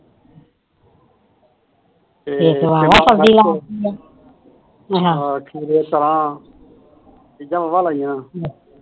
ਖੀਰੇ ਤਰਾਂ ਚੀਜਾ ਮਸਾ ਲਾਈਆ ਨੇ